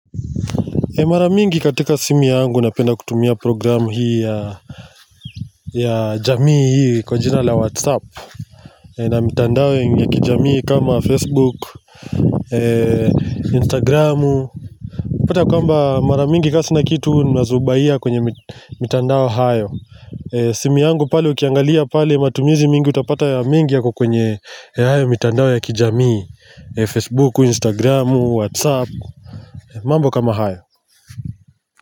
Mara mingi katika simu yangu napenda kutumia programu hii ya jamii hii kwa jina la whatsapp na mitandao ya kijamii kama facebook, instagramu utapata kwamba mara mingi ka sina kitu nazubahia kwenye mitandao hayo simu yangu pale ukiangalia pale matumizi mingi utapata yako kwenye mitandao ya kijamii Facebook, instagramu, whatsapp mambo kama hayo.